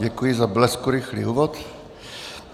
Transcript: Děkuji za bleskurychlý úvod.